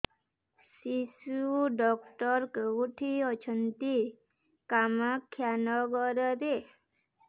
ଶିଶୁ ଡକ୍ଟର କୋଉଠି ଅଛନ୍ତି କାମାକ୍ଷାନଗରରେ